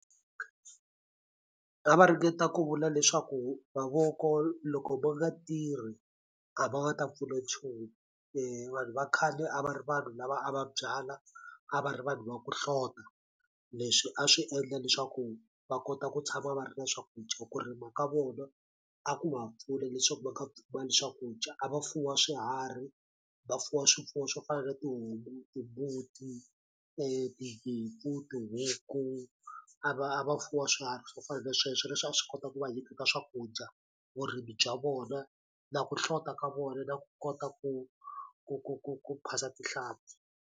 A va ringeta ku vula leswaku mavoko loko ma nga tirhi a ma nga ta pfuna nchumu se vanhu va khale a va ri vanhu lava a va byala a va ri vanhu va ku hlota leswi a swi endla leswaku va kota ku tshama va ri na swakudya ku rima ka vona a ku va pfuna leswaku va nga pfumali swakudya a va fuwa swiharhi va fuwa swifuwo swo fana na tihomu timbuti tinyimpfu tihuku a va a va fuwa swiharhi swo fana na sweswo leswi a swi kota ku va nyiketa swakudya vurimi bya vona na ku hlota ka vona na ku kota ku ku ku ku ku phasa tinhlampfi.